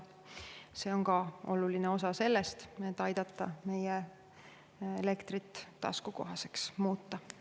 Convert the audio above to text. See on ka oluline osa sellest, et aidata meie elektrit taskukohaseks muuta.